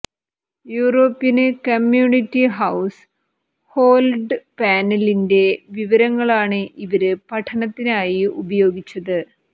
European Community Household പാനലിന്റെ വിവരങ്ങളാണ് ഇവര് പഠനത്തിനായി ഉപയോഗിച്ചത്